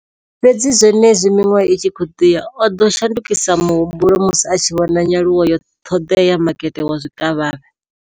Fhedzi zwenezwi miṅwaha i tshi khou ḓi ya, o ḓo shandukisa muhumbulo musi a tshi vhona nyaluwo ya ṱhoḓea ya makete wa zwikavhavhe.